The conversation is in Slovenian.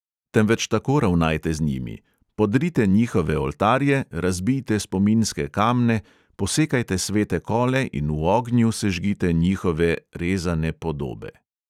Temveč tako ravnajte z njimi: podrite njihove oltarje, razbijte spominske kamne, posekajte svete kole in v ognju sežgite njihove rezane podobe!